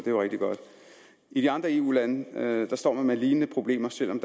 jo rigtig godt i de andre eu lande står man med lignende problemer selv om